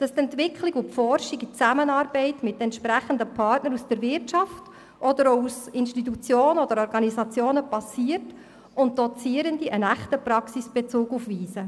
Es ist uns wichtig, dass die Forschung und Entwicklung in Zusammenarbeit mit entsprechenden Partnern aus der Wirtschaft, aber auch aus Institutionen und Organisationen geschieht, und dass Dozierende einen echten Praxisbezug aufweisen.